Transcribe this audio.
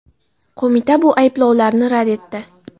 Qo‘mita bu ayblovlarni rad etdi.